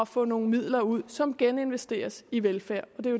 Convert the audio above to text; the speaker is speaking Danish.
få nogle midler ud som geninvesteres i velfærd